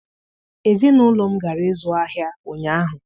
Ezinụlọ m gara ịzụ ahịa ụnyaahụ